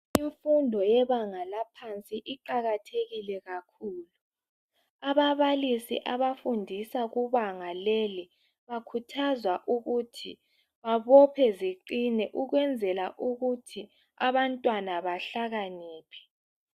Imfundo yebanga laphansi iqakathekile kakhulu. Ababalisi abafundisa kubanga leli bakhuthazwa ukuthi babophe ziqine ukwenzela ukuthi abantwana bahlakaniphe.